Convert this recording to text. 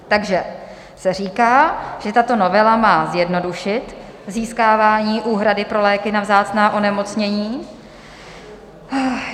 Takže se říká, že tato novela má zjednodušit získávání úhrady pro léky na vzácná onemocnění.